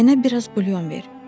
Mənə biraz bulyon ver.